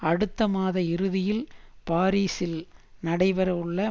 அடுத்த மாத இறுதியில் பாரீசில் நடைபெற உள்ள